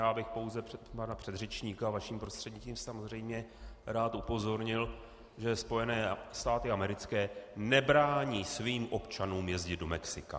Já bych pouze pana předřečníka - vaším prostřednictvím, samozřejmě - rád upozornil, že Spojené státy americké nebrání svým občanům jezdit do Mexika.